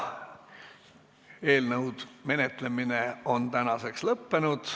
Eelnõu menetlemine on tänaseks lõppenud.